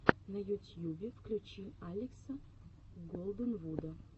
на ютьюбе включи алекса голденвуда